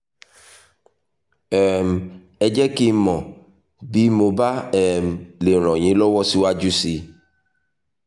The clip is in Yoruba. um ẹ jẹ́ kí n mọ̀ bí mo bá um lè ràn yín lọ́wọ́ síwájú sí i